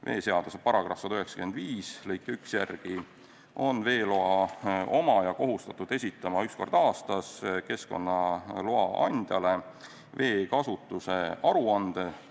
Veeseaduse § 195 lõike 1 järgi on veeloa omaja kohustatud esitama üks kord aastas keskkonnaloa andjale veekasutuse aruande.